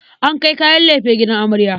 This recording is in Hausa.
An kai kayan lefe gidan amarya.